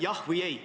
Jah või ei?